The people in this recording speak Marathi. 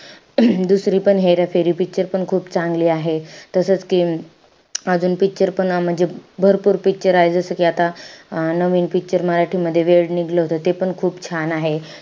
दुसरीपण हेराफेरी picture पण खूप चांगली आहे. तसंच कि अजून picture पण म्हणजे भरपूर picture आहे. जसं कि आता अं नवीन picture मराठी मध्ये वेड निघलं होतं. तेपण खूप छान आहे.